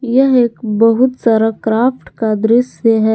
यह एक बहुत सारा क्राफ्ट का दृश्य है।